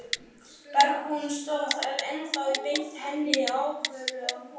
Bergbúinn stóð þar ennþá og benti henni ákafur að koma.